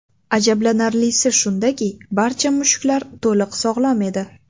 Ajablanarlisi shundaki, barcha mushuklar to‘liq sog‘lom edi.